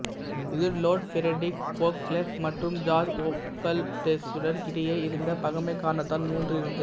இது Lord Frederick Beauclerk மற்றும் George Osbaldeston இடையே இருந்த பகைமை காரணத்தால் மூண்டு இருந்தது